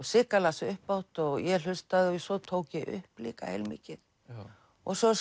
Sigga las upphátt og ég hlustaði og svo tók ég upp líka heilmikið og svo